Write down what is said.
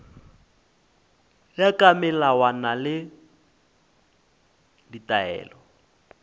ya ka melawana le ditaelo